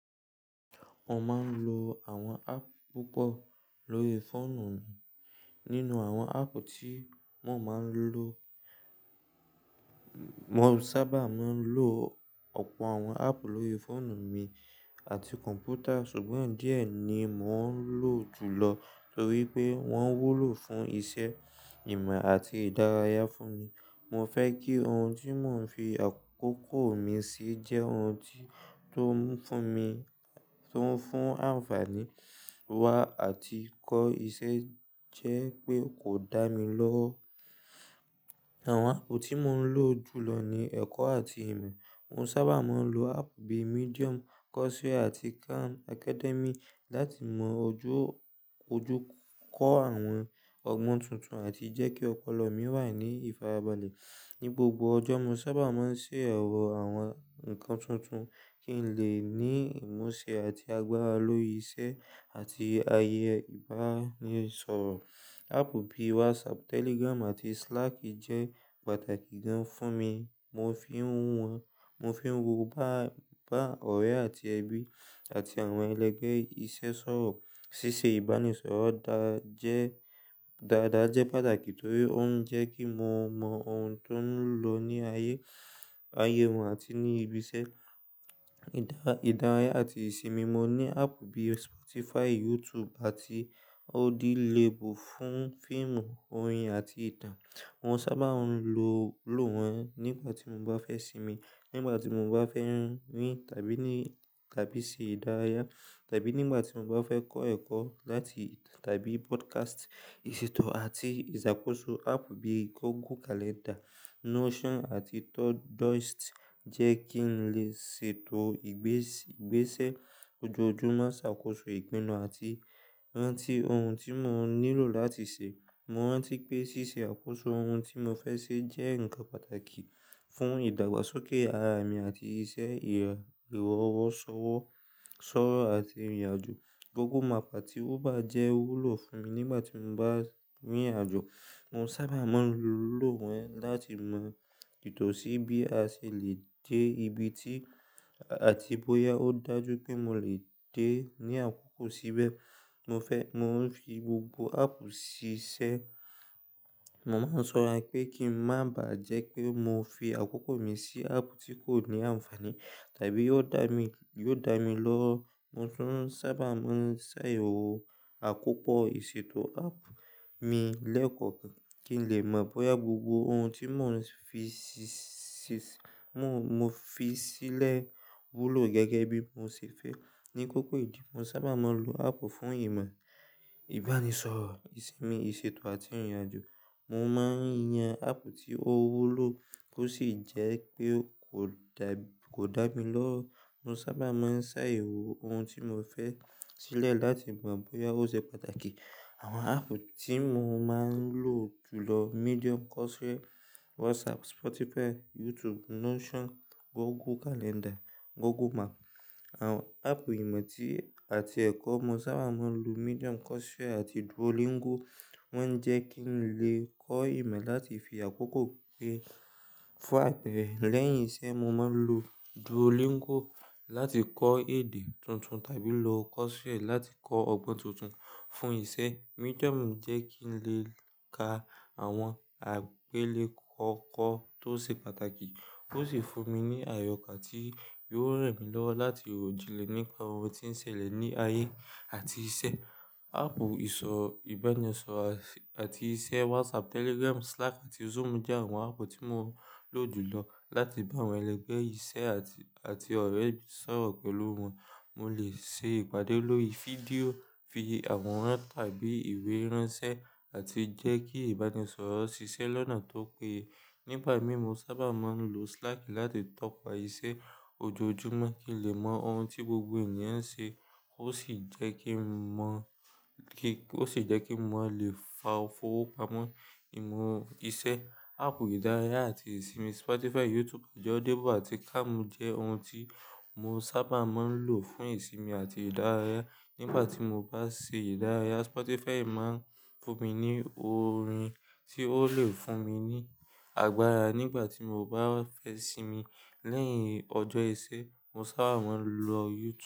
Mo máa ń lo àwọn áàpù púpọ̀ lórí fóònù mi. Nínú àwọn áàpù tí mo máa ń lò, mo sábà máa ń lò ọ̀pọ̀ àwọn áàpù lórí fóònù mi àti kọ̀m̀pútà ṣùgbọ́n díẹ̀ ni mò ń lò jùlọ torí pé wọ́n wúlò fún iṣẹ́, ìmọ̀ àti ìdárayá fún mi. Mo fẹ́ kí ohun tí mò ń fi àkókò mi sí jẹ́ ohun tó ń fún mi, tó ń fún àǹfàní wá àti kó iṣẹ́ jẹ́ pé kò dá mi lọ́. Àwọn áàpù tí mò ń lò jùlọ ni ẹ̀kọ́ àti ìmọ̀. Mo sábà máa ń lo áàpù bíi Medium, Coursera àti Khan Academy láti mọ ojú, ojú kó àwọn ọgbọ́n tuntun àti jẹ́ kí ọpọlọ mi wà ní ìfarabalẹ̀. Ní gbogbo ọjọ́, mo sábà máa ń ṣe ẹ̀rọ àwọn nǹkan tuntun kí n lè ní ìmọ̀ ṣe àti agbára lórí iṣẹ́ àti ayẹyẹ ìbánisọ̀rọ̀. Áàpù bíi WhatsApp, Telegram àti Slack jẹ́ pàtàkì gan fún mi. Mo fi ń wọ́n, mo fi ń wọ bá, bá ọ̀rẹ́ àti ẹbí àti àwọn ẹlẹgbẹ́ iṣẹ́ sọ̀rọ̀. Ṣíṣe ìbánisọ̀rọ̀ dáa jẹ́, dáadáa jẹ́ pàtàkì torí ó ń jẹ́ kí mo mọ ohun tó ń lọ ní ayé, ayé wọn àti ní ibi iṣẹ́. Ìdá, ìdárayá àti ìsinmi, mo ní áàpù bíi Spotify, YouTube àti Audiolible fún fíìmù, orin àti ìtàn. Mo sábà ń lo, lò wọ́n nígbà tí mo bá fẹ́ sinmi, nígbà tí mo bá fẹ́ rin tàbí ní, tàbí ṣe ìdárayá, tàbí nígbà tí mo bá fẹ́ kọ́ ẹ̀kọ́ láti, tàbí podcast. Ìṣètò àti ìṣàkóso, áàpù bíi Google Calendar, Notion àti Todoist jẹ́ kí n lè ṣètò ìgbésì, ìgbésẹ̀ ojoojúmọ́, ṣàkóso ìpinnu àti rántí ohun tí mò ń nílò láti ṣe. Mo rántí pé ṣíṣe àkóso ohun tí mo fẹ́ ṣe jẹ́ nǹkan pàtàkì fún ìdàgbàsókè ara mi àti iṣẹ́, ìr, ìrọ̀wọ́ṣọ́wọ́, ṣọ́rọ́ àti ìrìnàjò. Google Map àti Uber jẹ́ wúlò fún mi nígbà tí mo bá rin ìrìnàjò. Mo sábà máa ń lò wọ́n láti mọ ìtọ̀sí bí a ṣe lè dé ibi ti àti bóyá ó dájú pé mo lè dé ní àkókò síbẹ̀. Mo fẹ́, mò ń fi gbogbo áàpù sí iṣẹ́. Mo máa ń ṣọra pé kí ń má bàá jẹ́ pé mo fi àkókò mi sí áàpù tí kò ní àǹfàní tàbí yóò dá mi, yóò dá mi lọ́. Mo tún sábà máa ń ṣe ẹ̀rọ àkópọ̀ ìṣètò áàpù mi lẹ́ẹ̀kọ̀kan kí n lè mọ bóyá gbogbo ohun tí mò ń fi sí, sì, mo, mo fi sílẹ̀ wúlò gẹ́gẹ́ bí mo ṣe fẹ́. Ní kókó ìdí, mo sábà máa ń lo áàpù fún ìmọ̀, ìbánisọ̀rọ̀, ìsinmi, ìṣètò àti ìrìnàjò. Mo máa ń yan áàpù tí ó wúlò kó sì jẹ́ pé kò dà, kò dá mi lọ́. Mo sábà máa ń ṣe àyẹ̀wò ohun tí mo fẹ́ sílẹ̀ láti mọ bóyá ó ṣe pàtàkì. Àwọn áàpù tí mo máa ń lò jùlọ, Medium, Coursera, WhatsApp, Spotify, YouTube, Notion, Google Calendar, Google Map. Àwọn áàpù ìmọ̀ ti àti ẹ̀kọ́ mo sábà máa ń lo Medium, Coursera àti Duolingo. Wọ́n ń jẹ́ kí n lè kọ́ ìmọ̀ láti fi àkókò pé, fún apẹ̀rẹ̀. Lẹ́yìn iṣẹ́, mo máa ń lo Duolingo láti kọ́ èdè tuntun tàbí lo Coursera láti kọ́ ọgbọ́n tuntun. Fún iṣẹ́, Medium jẹ́ kí n lè ka àwọn àgbélékọ̀ọ́ tó ṣe pàtàkì ó sì fún mi ní àyọkà tí yóò ran mí lọ́wọ́ láti ròjìnlẹ̀ nípa ọ̀rọ̀ tí ń ṣẹlẹ̀ ní ayé àti iṣẹ́. Áàpù ìsọ, ìbánisọ̀rọ̀ àṣ, àti iṣẹ́ WhatsApp, Telegram, Slack àti Zoom jẹ́ àwọn áàpù tí mo lò jùlọ láti bá àwọn ẹlẹgbẹ́ iṣẹ́ àti, àti ọ̀rẹ́ mi sọ̀rọ̀ pẹ̀lú wọn. Mo lè ṣe ìpàdé lórí fídíò, fi àwọn ráǹtì tàbí ìwé ránṣẹ́ àti jẹ́ kí ìbánisọ̀rọ̀ ṣiṣẹ́ lọ́nà tó péye. Nígbà mi, mo sábà máa ń lo Slack láti tọ̀pa iṣẹ́ ojoojúmọ́ kí n lè mọ ohun tí gbogbo ènìyàn ń ṣe ó sì jẹ́ kí n mọ kí, ó sì jẹ́ kí mo lè fa fowó pamọ́ ìmọ̀ iṣẹ́. Áàpù ìdárayá àti ìsinmi Spotify, YouTube, Audible àti Calm jẹ́ ohun tí mo sábà máa ń lò fún ìsinmi àti ìdárayá. Nígbà tí mo bá ṣe ìdárayá, Spotify máa ń fún mi ní orin tí ó lè fún mi ní àgbára. Nígbà tí mo bá fẹ́ sinmi lẹ́yìn ọjọ́ iṣẹ́, mo sábà máa ń lo YouTube.